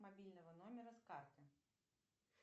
мобильного номера с карты